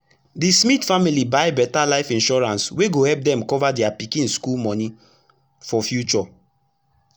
d smith family buy better life insurance wey go epp dem cover dia pikin school moni for future